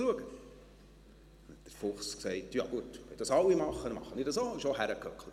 Da sagte der Fuchs, «Wenn das alle machen, dann mache ich das auch.», und setzte sich auch hin.